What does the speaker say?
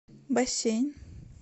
бассейн